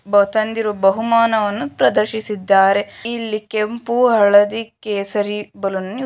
ಬ ತಂದಿರುವ ಬಹುಮಾನವನ್ನು ಪ್ರದರ್ಶಿಸಿದ್ದಾರೆ ಇಲ್ಲಿ ಕೆಂಪು ಹಳದಿ ಕೇಸರಿ ಬಲುನನ್ನು ನಿ--